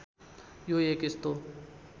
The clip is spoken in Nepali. यो एक यस्तो